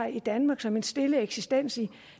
i danmark som en stille eksistens i